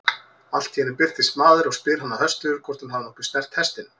Allt í einu birtist maður og spyr hana höstugur hvort hún hafi nokkuð snert hestinn.